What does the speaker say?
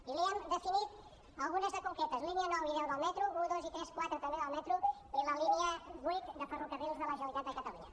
i n’hi hem definit algunes de concretes línies nou i deu del metro un dos tres i quatre també del metro i la línia vuit de ferrocarrils de la generalitat de catalunya